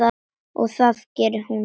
Og það gerði hún.